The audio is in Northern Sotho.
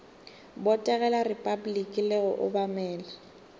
botegela repabliki le go obamela